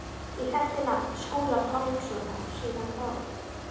Ég þekkti nafn Skúla Pálssonar síðan þá.